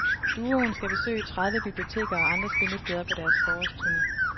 Duoen skal besøge tredive biblioteker og andre spillesteder på deres forårsturne.